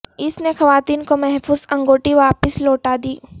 اس نے خواتین کو محفوظ انگوٹی واپس لوٹا دی